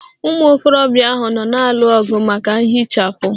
Ụmụ okorobịa ahụ nọ na-alụ ọgụ maka nhichapụ.